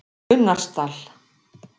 Unnarsdal